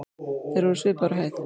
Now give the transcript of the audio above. Þeir voru svipaðir á hæð.